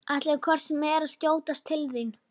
Ætlaði hvort sem er að skjótast til þín.